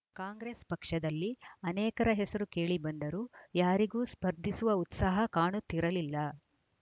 ಕಾಂಗ್ರೆಸ್‌ ಪಕ್ಷದಲ್ಲಿ ಅನೇಕರ ಹೆಸರು ಕೇಳಿಬಂದರೂ ಯಾರಿಗೂ ಸ್ಪರ್ಧಿಸುವ ಉತ್ಸಾಹ ಕಾಣುತ್ತಿರಲಿಲ್ಲ